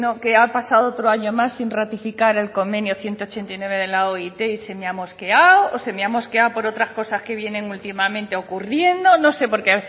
que ha pasado otro año más sin ratificar el convenio ciento ochenta y nueve de la oit y se me ha mosqueado o se me ha mosqueado por otras cosas que vienen últimamente ocurriendo no sé porque